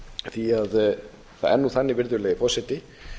því það er nú þannig virðulegi forseti